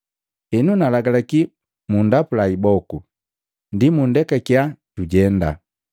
Henu nagalaki mundapula iboku, ndi mundekakiya jujenda.”